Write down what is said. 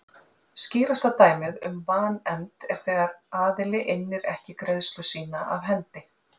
Skýrasta dæmið um vanefnd er þegar aðili innir ekki greiðslu sína af hendi.